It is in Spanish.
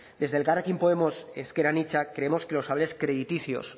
desde elkarrekin podemos ezker anitza creemos que los avales crediticios